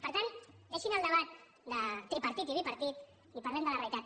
per tant deixin el debat de tripartit i bipartit i parlem de la realitat